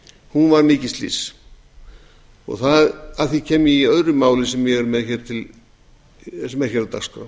og fjögur var mikið slys og að því kem ég í öðru máli sem er á dagskrá